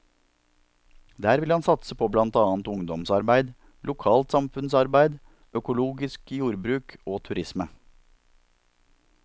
Der vil han satse på blant annet ungdomsarbeid, lokalt samfunnsarbeid, økologisk jordbruk og turisme.